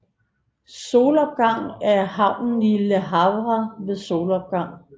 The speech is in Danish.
Solopgang er havnen i Le Havre ved solopgang